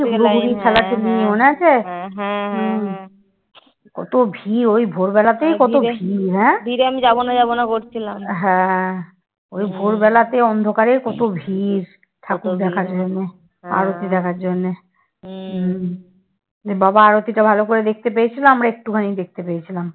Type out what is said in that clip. বাবার আরতীটা ভালো করে দেখতে পেয়েছিলাম একটুখানি দেখতে পেয়েছিলাম।